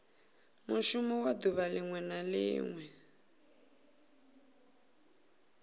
mushumo wa duvha linwe na